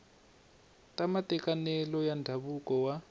ka matekanelo ya ndzhavuko wa